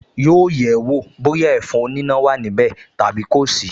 Yóò yẹ̀ ẹ́ wọ̀ bóyá ẹ̀fọn oníná wà níbẹ̀ tàbí kò sí